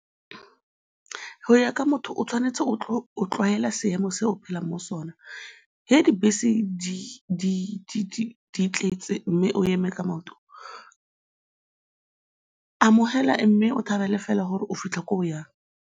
Go ya ka motho, o tshwanetse go tlwaela seemo se o phelang mo sona, ge dibese di tletse mme o eme ka maoto, amogela mme o thabele fela gore o fitlha ko o yang.